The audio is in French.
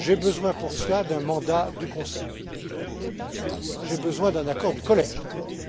J'ai besoin pour cela d'un mandat du Conseil. J'ai besoin d'un accord du Collège, d'abord.